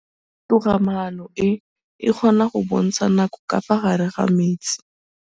Toga-maanô e, e kgona go bontsha nakô ka fa gare ga metsi.